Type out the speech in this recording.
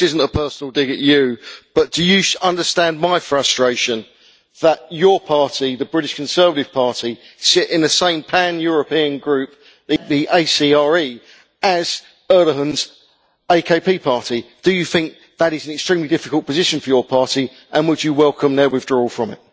This isn't a personal dig at you, but do you understand my frustration that your party, the British Conservative Party, sits in the same pan European group, the ACRE, as Erdogan's AKP party? Do you think that is an extremely difficult position for your party, and would you welcome their withdrawal from it?